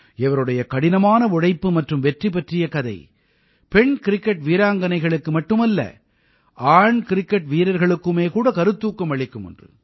இவருடைய கடினமான உழைப்பு மற்றும் வெற்றி பற்றிய கதை பெண் கிரிக்கெட் வீராங்கனைகனைகளுக்கு மட்டுமல்ல ஆண் கிரிக்கெட் வீரர்களுக்குமே கூட கருத்தூக்கம் அளிக்கும் ஒன்று